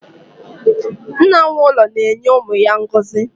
Nna nwe ụlọ na-enye umu ya ngozi